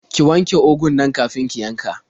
Ki wanje ugun nan kafin ki yanka.